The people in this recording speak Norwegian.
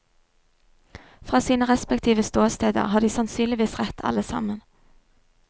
Fra sine respektive ståsteder har de sannsynligvis rett alle sammen.